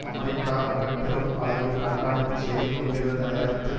America மிக பெரும் அளவில் கண்காணிப்பு செய்து கொண்டிருந்த நேரத்தில்